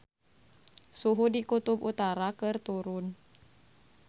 Suhu di Kutub Utara keur turun